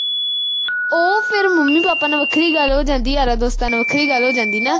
ਉਹ ਫਿਰ mummy papa ਨਾਲ ਵੱਖਰੀ ਗੱਲ ਹੋ ਜਾਂਦੀ ਤੇ ਯਾਰਾਂ-ਦੋਸਤਾਂ ਨਾਲ ਵੱਖਰੀ ਗੱਲ ਹੋ ਜਾਂਦੀ ਨਾ ਅਹ ।